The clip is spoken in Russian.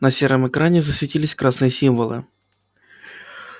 на сером экране засветились красные символы